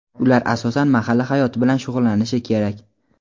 Ular asosan mahalla hayoti bilan shug‘ullanishi kerak.